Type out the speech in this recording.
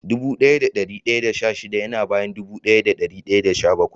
Dubu daya da dari daya da sha shida ya na bayan dubu daya da dari daya da sha-bakwai.